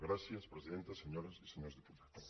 gràcies presidenta senyores i senyors diputats